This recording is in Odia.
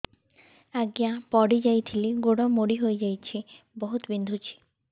ଆଜ୍ଞା ପଡିଯାଇଥିଲି ଗୋଡ଼ ମୋଡ଼ି ହାଇଯାଇଛି ବହୁତ ବିନ୍ଧୁଛି